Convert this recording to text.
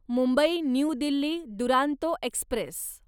Mumbai new Delhi Duronto Express